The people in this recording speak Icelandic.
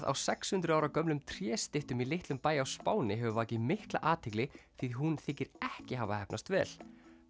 á sex hundruð ára gömlum tréstyttum í litlum bæ á Spáni hefur vakið mikla athygli því hún þykir ekki hafa heppnast vel